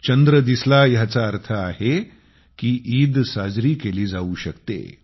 चंद्र दिसला ह्याचा अर्थ आहे की ईद साजरी केली जाऊ शकते